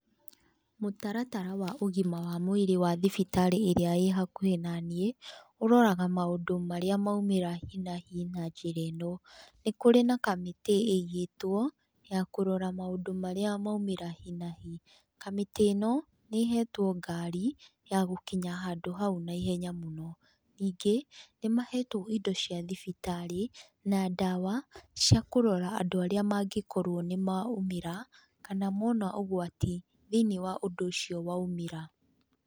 Mũtaratara wa ũgima wa mwĩrĩ wa thibitarĩ ĩrĩa ĩhakuhĩ naniĩ, ũroraga maũndũ marĩa maumĩra hi na hi na njĩra ĩno, nĩ kũrĩ na kamĩtĩ ĩigĩtwo ya kũrora maũndũ marĩa maumĩra hi na hi. Kamĩtĩ ĩno nĩ ĩhetwo ngari ya gũkinya handũ hau naihenya mũno, ningĩ nĩ mahetwo indo cia thibitarĩ, na ndawa cia kũrora andũ arĩa mangĩkorwo nĩ maumĩra kana mona ũgwati thĩinĩ wa ũndũ ũcio waumĩra.